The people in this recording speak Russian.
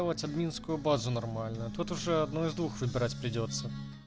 вать админскую базу нормально тот уже одно из двух выбирать придётся